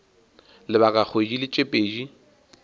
lebaka la kgwedi tše pedi